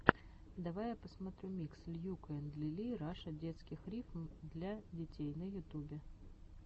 давай я посмотрю микс льюка энд лили раша детских рифм для детей на ютубе